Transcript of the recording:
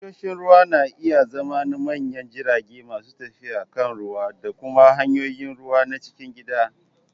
Tashoshin ruwa na iya zama na manyan jirage masu tafiya kan ruwa da kuma hanyoyin ruwa na cikin gida.